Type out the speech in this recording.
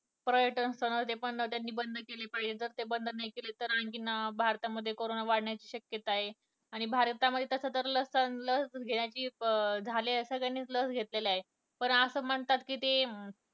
पर्यटन स्थळ ते पण त्यांनी बंद केले पाहिजे जर ते बंद नाही केले तरआणखीन भारतामध्ये करोना वाढण्याची शक्यता आहे आणि भारतामध्ये तस लसलस घेण्याचे अं झाले आहे सगळ्यांनी लस घेतलेल आहे पण असं म्हणतात कि ते